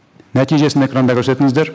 нәтижесін экранда көрсетіңіздер